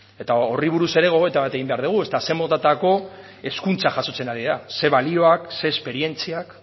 eta horri buruz ere gogoeta bat egin behar dugu zein motatako hezkuntza jasotzen ari dira zein balioak zein esperientziak